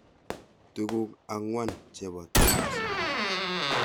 Tuguk ang'wan chepo TIMSS